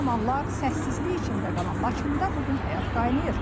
Bir zamanlar səssizlik içində qalan Laçında bu gün həyat qaynayır.